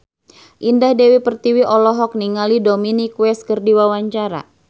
Indah Dewi Pertiwi olohok ningali Dominic West keur diwawancara